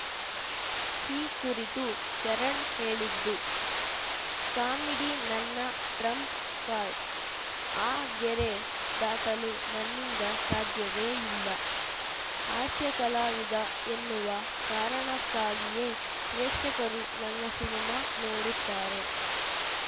ಈ ಕುರಿತು ಶರಣ್‌ ಹೇಳಿದ್ದು ಕಾಮಿಡಿ ನನ್ನ ಟ್ರಂಪ್‌ ಕಾರ್ಡ್‌ ಆ ಗೆರೆ ದಾಟಲು ನನ್ನಿಂದ ಸಾಧ್ಯವೇ ಇಲ್ಲ ಹಾಸ್ಯ ಕಲಾವಿದ ಎನ್ನುವ ಕಾರಣಕ್ಕಾಗಿಯೇ ಪ್ರೇಕ್ಷಕರು ನನ್ನ ಸಿನಿಮಾ ನೋಡುತ್ತಾರೆ